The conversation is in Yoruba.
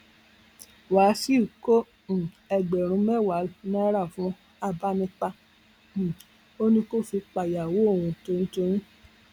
wàsíù kó um ẹgbẹrún mẹwàá náírà fún agbanipa um ó ní kó fi pàyàwó òun toyyún